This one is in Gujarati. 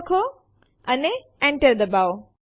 તે માટે લખો એલએસ અને Enter ડબાઓ